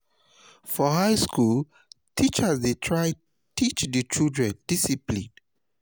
for high school teachers de try teach di students discipline